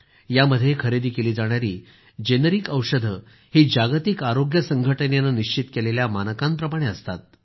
यामध्ये खरेदी केली जाणारी जेनरिक औषधं ही जागतिक आरोग्य संघटनेनं निश्चित केलेल्या मानकांप्रमाणे असतात